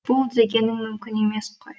бұл дегенің мүмкін емес қой